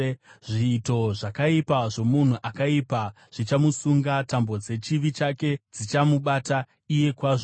Zviito zvakaipa zvomunhu akaipa zvichamusunga; tambo dzechivi chake dzichamubata iye kwazvo.